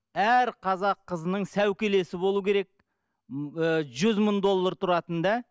әр қазақ қызының сәукелесі болу керек ы жүз мың доллар тұратын да